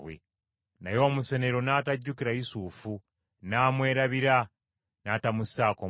Naye omusenero n’atajjukira Yusufu n’amwerabira n’atamussaako mwoyo.